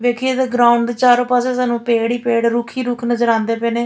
ਵੇਖੀਏ ਤਾਂ ਗਰਾਉਂਡ ਦੇ ਚਾਰੇ ਪਾਸੇ ਸਾਨੂੰ ਪੇੜ ਹੀ ਪੇੜ ਰੁੱਖ ਹੀ ਰੁੱਖ ਨਜ਼ਰ ਆਉਂਦੇ ਪਏ ਨੇ --